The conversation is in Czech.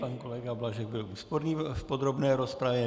Pan kolega Blažek byl úsporný v podrobné rozpravě.